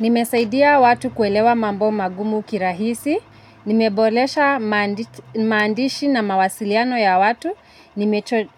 Nimesaidia watu kuelewa mambo magumu kirahisi, nimebolesha mandishi na mawasiliano ya watu,